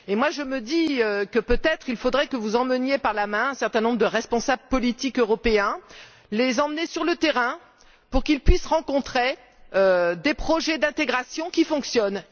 Je me dis que, peut être, il faudrait que vous preniez par la main un certain nombre de responsables politiques européens pour les emmener sur le terrain afin qu'ils puissent voir des projets d'intégration qui fonctionnent.